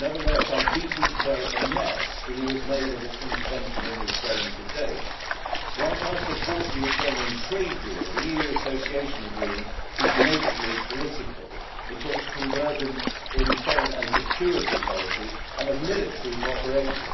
Nevertheless, I am deeply concerned at the mess the EU has made of its intervention in Ukraine to date. Whilst I support a Ukrainian trade deal, the EU Association Agreement is nakedly political. It talks of convergence in foreign and security policy and of military cooperation.